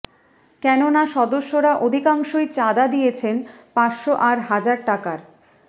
কেন না সদস্যরা অধিকাংশই চাঁদা দিয়েছেন পাঁচশো আর হাজার টাকার